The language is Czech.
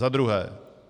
Za druhé.